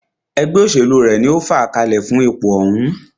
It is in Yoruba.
Ẹgbẹ́ òṣèlú rẹ̀ ní o fàá kalẹ̀ fún ipò òhún.